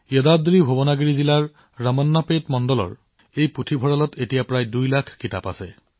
ইয়াদাদ্ৰীভূৱনাগিৰি জিলাৰ ৰামান্নাপেট মণ্ডলৰ এই পুথিভঁৰালত প্ৰায় ২ লাখ কিতাপ আছে